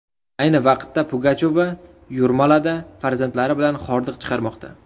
Ayni vaqtda Pugachova Yurmalada farzandlari bilan hordiq chiqarmoqda.